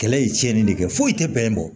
Kɛlɛ ye tiɲɛni de kɛ foyi tɛ bɛnɛ bɔ